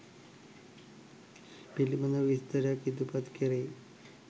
පිළිබඳ විස්තරයක් ඉදිරිපත් කෙරෙයි.